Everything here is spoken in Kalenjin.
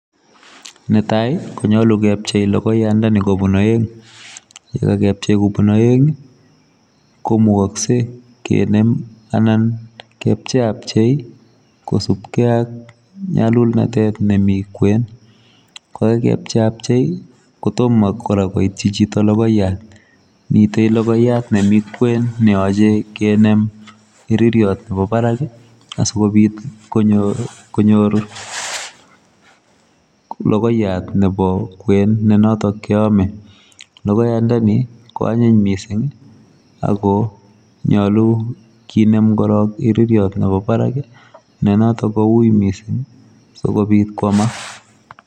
Ne tai ii konyaluu kepchei logoyoyaandani koab aeng, ye kakepchei kobuun aeng ii ko mukaksei kinem anan kepchei ab chei kosupkei aak nyalulnatet nemii kweeny kora ko kakecheiabchei kotomah koityi chitoo kotomah logoyaat miten logoyaat nemii kween neyachei kinem iririet nebo barak asikobiit konyooru logoyaat nebo kweeny tuguuk che ame logoiyandani koanyiin missing ako korong koyachei kinem iririet nebo barak notoon ko wui misssing kobiit koyamaak.